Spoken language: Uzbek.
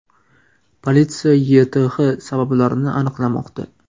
Politsiya YTH sabablarini aniqlamoqda.